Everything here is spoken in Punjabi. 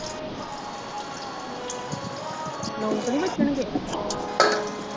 ਨੌ ਤਾਂ ਨਹੀਂ ਵੱਜੇ ਅਜੇ